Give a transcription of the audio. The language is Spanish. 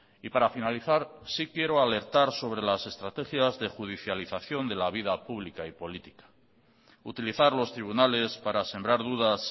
y para finalizar sí quiero alertar sobre las estrategias de judicialización de la vida pública y política utilizar los tribunales para sembrar dudas